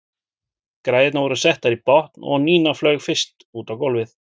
Græjurnar voru settar í botn og Nína flaug fyrst út á gólfið.